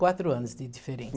Quatro anos de